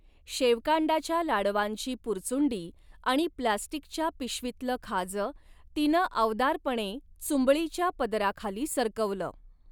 शेवकांडाच्या लाडवांची पुरचुंडी आणि प्लास्टिकच्या पिशवीतल खाज तिन आवदारपणे चुंबळीच्या पदराखाली सरकवल.